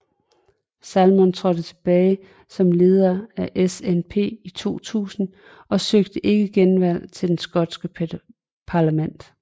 Salmond trådte tilbage som leder af SNP i 2000 og søgte ikke genvalg til det skotske parlament